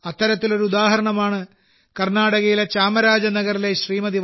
അത്തരത്തിലൊരു ഉദാഹരണമാണ് കർണാടകയിലെ ചാമരാജനഗറിലെ ശ്രീമതി